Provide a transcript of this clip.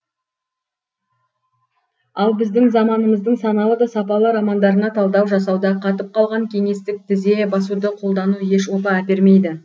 ал біздің заманымыздың саналы да сапалы романдарына талдау жасауда қатып қалған кеңестік тізе басуды қолдану еш опа әпермейді